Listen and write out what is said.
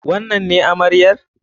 Wannan ne amaryar?